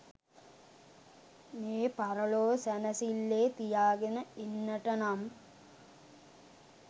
මේ පරලොව සැනසිල්ලේ තියාගෙන ඉන්නට නම්